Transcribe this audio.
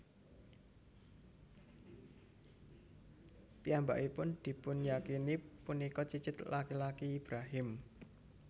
Piyambakipun dipunyakini punika cicit laki laki Ibrahim